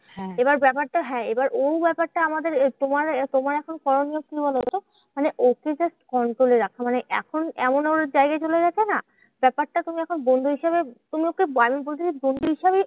এবার ব্যাপারটা হ্যাঁ এবার ও ব্যাপারটা আমাদের তোমার এ তোমার এখন করণীয় কি বলোতো? মানে ওকে just control এ রাখা। মানে এখন এমন এমন চলে গেছে না? ব্যাপারটা তুমি এখন বন্ধু হিসেবে তুমি হচ্ছে আমি বলছি যে, বন্ধু হিসাবেই